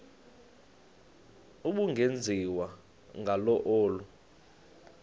ubungenziwa ngalo olu